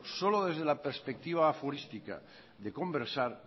solo desde la perspectiva aforística de conversar